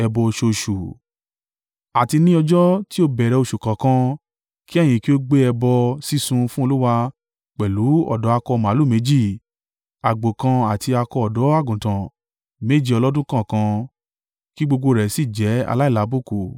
“ ‘Àti ní ọjọ́ tí o bẹ̀rẹ̀ oṣù kọ̀ọ̀kan, kí ẹ̀yin kí ó gbé ẹbọ sísun fún Olúwa pẹ̀lú ọ̀dọ́ akọ màlúù méjì, àgbò kan àti akọ ọ̀dọ́-àgùntàn méje ọlọ́dún kọ̀ọ̀kan, kí gbogbo rẹ̀ sì jẹ́ aláìlábùkù.